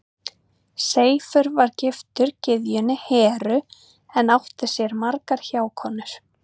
Seifur var giftur gyðjunni Heru en átti sér margar hjákonur.